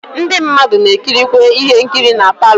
Ndi mmadu na ekirikwe ihe nkiri na parlour.